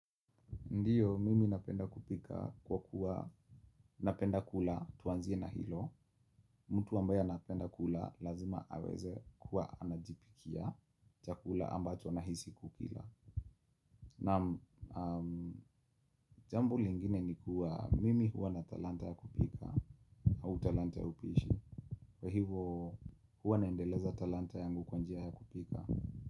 Ndio, mimi napenda kupika kwa kuwa, napenda kula tuanzie na hilo. Mtu ambaye anapenda kula lazima aweze kuwa anajipikia chakula ambacho anahisi kukila. Naam, jambo lingine ni kuwa, mimi huwa na talanta ya kupika au talanta ya upishi. Kwa hivo, huwa naendeleza talanta yangu kwa njia ya kupika.